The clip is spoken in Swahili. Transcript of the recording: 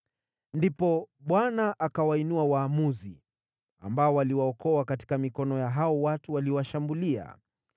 Ndipo Bwana akawainua waamuzi, ambao waliwaokoa katika mikono ya hao watu waliowashambulia.